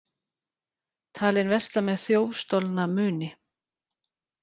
Talinn versla með þjófstolna muni